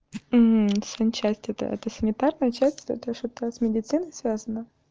санчасть эта эта санитарная часть это что-то с медициной связана